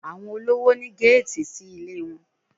Àwọn olówò ní géètì sí ilé wọn